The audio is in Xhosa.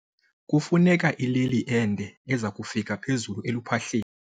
Kufuneka ileli ende eza kufika phezulu eluphahleni.